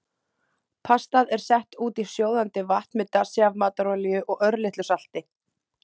Pastað er sett út í sjóðandi vatn með dassi af matarolíu og örlitlu salti.